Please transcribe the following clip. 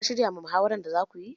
Ka shirya ma muhawaran da za kuyi?